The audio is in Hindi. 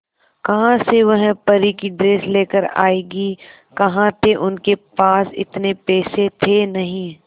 कहां से वह परी की ड्रेस लेकर आएगी कहां थे उनके पास इतने पैसे थे नही